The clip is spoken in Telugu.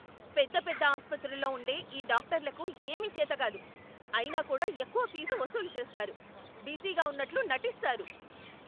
పెద్ద పెద్ద ఆసుపత్రుల్లో ఉండే ఈ డాక్టర్లకు ఏమీ చేతకాదు, అయినా కూడా ఎక్కువ ఫీజు వసూలు చేస్తారు, బిజీగా ఉన్నట్లు నటిస్తారు.